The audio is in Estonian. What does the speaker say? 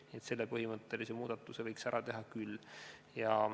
Nii et selle põhimõttelise muudatuse võiks ära teha küll.